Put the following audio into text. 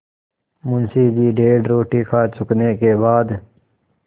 मुंशी जी डेढ़ रोटी खा चुकने के बाद